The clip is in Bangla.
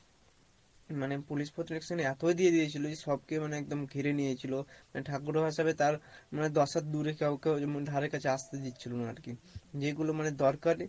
মানে police protection এতো দিয়ে দিয়েছিল যে সবকে মানে একদম ঘিরে নিয়েছিল মানে ঠাকুরও ভাসাবে তার মানে দশ হাত দুরে কাউকে ধারে কাছে আসতে দিচ্ছিলো না আর কী যেগুলো মানে দরকার